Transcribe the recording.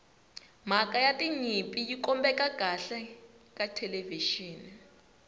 mhaka ya tinyimpi yi kombeka kahle ka thelevixini